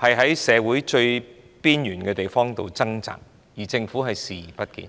在社會最邊緣之處掙扎，政府卻視而不見。